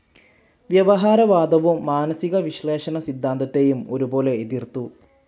വ്യവഹാരവാദവും മാനസികവിശ്ലേഷണ സിദ്ധാന്തത്തെയും ഒരുപോലെ എതിർത്തു.